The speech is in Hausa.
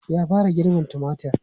Ya fara girbin tumatir?